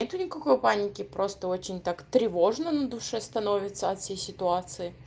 нету никакой паники просто очень так тревожно на душе становится от всей ситуации